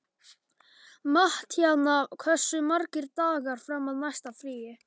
Mattíana, hversu margir dagar fram að næsta fríi?